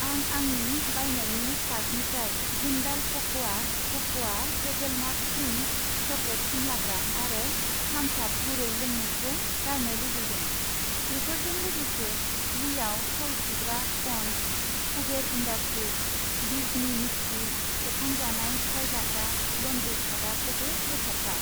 आं आंनि बायनायनि कार्टनिफ्राय Jindal cocoa cocoa hazelnut cream chocolate फुनलाग्रा आरो थाम्स आप गुरै लोंमु खौ गारनो लुबैदों। बेफोरजों लोगोसे लिआव थाव सुग्रा sponge, Kuber industries Disney Mickey सेबखांजानाय सिफायजाग्रा लन्द्रि खादा खौबो बोखारफा।